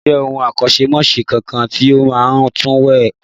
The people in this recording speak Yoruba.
Ǹjẹ́ o mọ akọ́ṣẹ́mọṣẹ́ kankan tí ó máa ń tùwèé kà?